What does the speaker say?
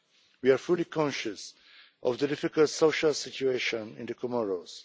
We are fully conscious of the difficult social situation in the Comoros.